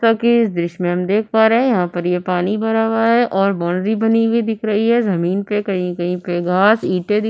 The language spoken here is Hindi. जैसा कि इस दृश्य में हम देख पा रहे हैं यहां पर ये पानी भरा हुआ है और बॉन्डरी बनी हुई दिख रही है जमीन पर कहीं कहीं पे घास ईंटे दिख --